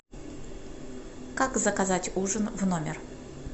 как заказать ужин в номер